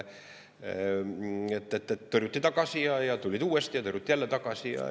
Tõrjuti tagasi ja tulid uuesti ja tõrjuti jälle tagasi.